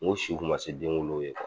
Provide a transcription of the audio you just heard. Ngo n i kuma se denwolow ye kuwa